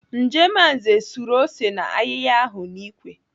Njemanze suru ose na ayịya ahụ n'ikwe.